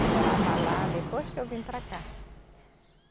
Eu morava lá depois que eu vim para cá.